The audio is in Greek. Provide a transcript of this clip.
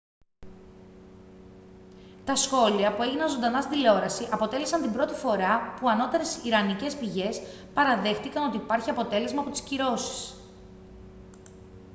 τα σχόλια που έγιναν ζωντανά στην τηλεόραση αποτέλεσαν την πρώτη φορά που ανώτερες ιρανικές πηγές παραδέχτηκαν ότι υπάρχει αποτέλεσμα από τις κυρώσεις